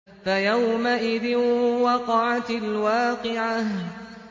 فَيَوْمَئِذٍ وَقَعَتِ الْوَاقِعَةُ